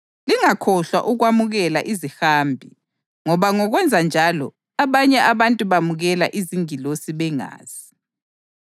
Lingakhohlwa ukwamukela izihambi ngoba ngokwenza njalo abanye abantu bamukela izingilosi bengazi.